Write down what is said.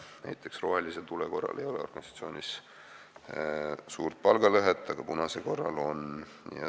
Näiteks ei ole rohelise tule korral organisatsioonis suurt palgalõhet, aga punase korral on.